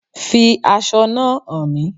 Fi aṣọ náà hán mí